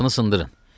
Qapını sındırın.